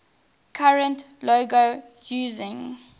current logo using